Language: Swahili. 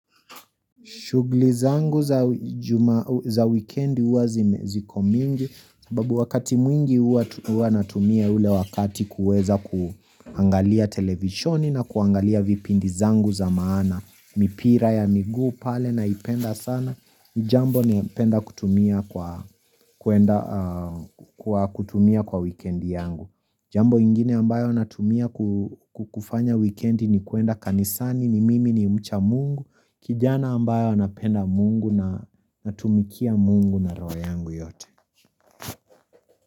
Shughuli zangu za weekend huwa ziko mingi, sababu wakati mwingi huwa natumia ule wakati kuweza kuangalia televisioni na kuangalia vipindi zangu za maana, mipira ya miguu pale naipenda sana, ni jambo napenda kutumia kwa wikendi yangu. Jambo ingine ambayo natumia kufanya wikendi ni kuenda kanisani ni mimi ni mcha mungu kijana ambaye anapenda mungu na natumikia mungu na roho yangu yote.